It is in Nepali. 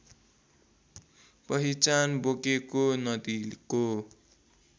पहिचान बोकेको नदीको